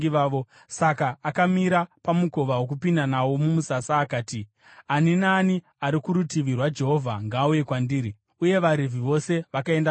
Saka akamira pamukova wokupinda nawo mumusasa akati, “Ani naani ari kurutivi rwaJehovha, ngaauye kwandiri.” Uye vaRevhi vose vakaenda kwaari.